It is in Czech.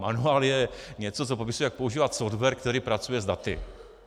Manuál je něco, co popisuje, jak používat software, který pracuje s daty.